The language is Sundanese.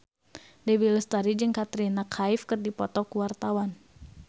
Dewi Lestari jeung Katrina Kaif keur dipoto ku wartawan